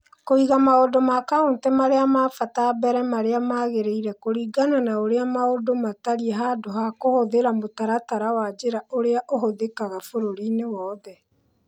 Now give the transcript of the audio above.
Kũiga maũndũ ma Kaunti marĩa ma bata mbere marĩa magĩrĩire kũringana na ũrĩa maũndũ matariĩ handũ ha kũhũthĩra mũtaratara wa njĩra ũrĩa ũhũthĩkaga bũrũriinĩ wothe